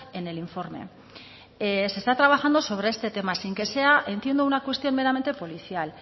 en el informe se está trabajando sobre este tema sin que sea entiendo una cuestión meramente policial